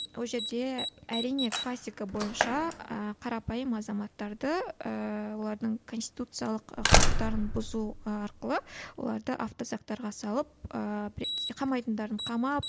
ол жерде әрине классика бойынша ы қарапайым азаматтарды ыыы олардың конституциялық ы құқықтарын бұзу арқылы оларды автозактарға салып ыыы қамайтындарын қамап